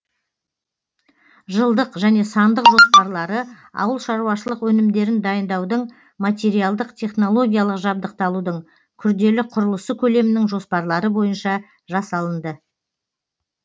жылдық және сандық жоспарлары ауыл шаруашылық өнімдерін дайындаудың материалдық технологиялық жабдықталудың күрделі құрылысы көлемінің жоспарлары бойынша жасалынды